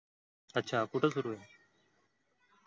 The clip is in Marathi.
अच्छा कुठं सुरु आहे?